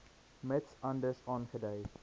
mits anders aangedui